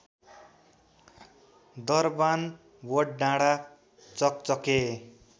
दरबान वडडाँडा चकचके